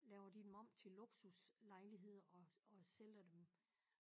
Laver de dem om til luksuslejligheder og og sælger dem